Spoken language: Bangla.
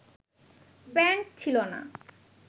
প্যান্ট ছিলো না